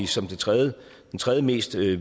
som den tredje tredje mest villige